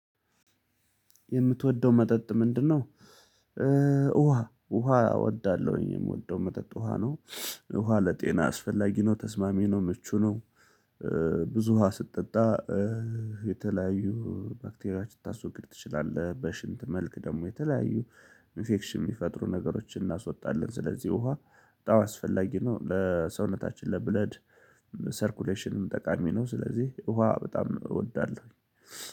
የምትወደው መጠጥ ምንድነው? ውሃ ውሃ እወዳለሁኝ የምወደው መጠጥ ውሃ ነው። ውሃ ለጤና አስፈላጊ ነው ተስማሚ ነው ምቹ ነው። ብዙ ውሃ ስትጠጣ። የተለያዩ ባክቴሪያ ልታስወግድ ትችላለህ። በሽንት መልክ ደግሞ የተለያዩ ኢንፌክሽን የሚፈጥሩ ነገሮችን እናስወጣለን። ስለዚህ ውሃ በጣም አስፈላጊ ነው። ለሰውነታችን ለብለድ ሰርኩሌሽንም ጠቃሚ ነው። ስለዚህ ውሃ በጣም እወዳለሁ።